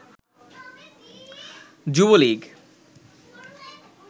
Jubo League